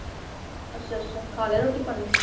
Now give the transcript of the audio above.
ਅੱਛਾ ਅੱਛਾ ਖਾ ਲਿਆ ਰੋਟੀ ਪਾਣੀ